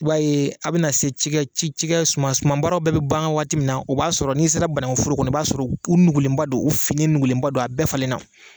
I b'a ye a bɛna se ci kɛ ci kɛ, suma baaraw bɛɛ bɛ ban waati min na o b'a sɔrɔ n'i sera banaun foro kɔnɔ, i b'a sɔrɔ u nugulenba don, u finnen nugulenba don a bɛɛ falenna.